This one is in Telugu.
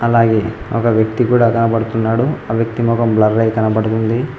అలాగే ఒక వ్యక్తి కూడా కనబడుతున్నాడు ఆ వ్యక్తి మొఖం బ్లర్ అయి కనబడుతుంది.